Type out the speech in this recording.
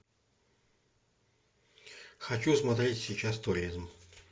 хочу смотреть сейчас туризм